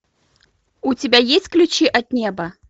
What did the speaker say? у тебя есть ключи от неба